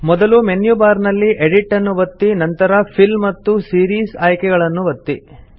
ಮೊದಲು menu bar ನಲ್ಲಿ edit ನ್ನು ಒತ್ತಿ ನಂತರ ಫಿಲ್ ಮತ್ತು ಸೀರೀಸ್ ಆಯ್ಕೆಗಳನ್ನು ಒತ್ತಿರಿ